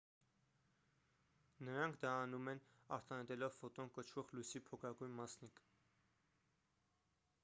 նրանք դա անում են արտանետելով ֆոտոն կոչվող լույսի փոքրագույն մասնիկ